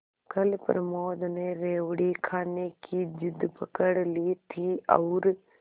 कल प्रमोद ने रेवड़ी खाने की जिद पकड ली थी और